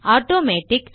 automatic